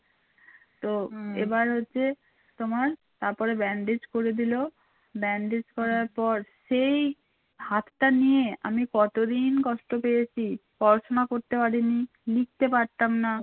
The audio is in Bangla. তোমার তারপরে bandage করে দিল bandage করার পর সেই হাতটা নিয়ে আমি কতদিন কষ্ট পেয়েছি পড়াশুনা করতে পারিনি লিখতে পারতাম না